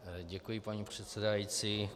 Děkuji, paní předsedající.